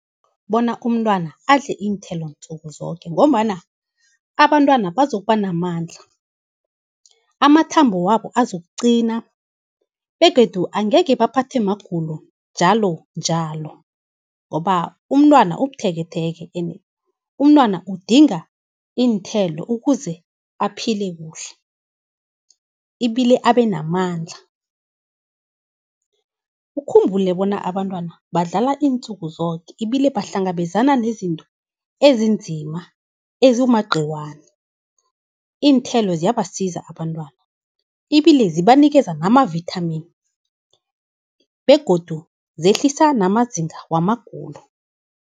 Bona umntwana adle iinthelo nzukuzoke, ngombana abantwana bazokuba namandla. Amathambo wabo uzokugcina, begodu angekhe baphathe magulo njalonjalo, ngoba umntwana ubutheketheke, ene umntwana udinga iinthelo ukuze aphile kuhle, ibile abenamandla. Ukhumbule bona abantwana badlala iinzukuzoke ibile bahlangabezana nezinto ezinzima ezimagciwani. Iinthelo ziyabasiza abantwana ibile sibanikeza namavithamini, begodu zehlisa namazinga wamagulo.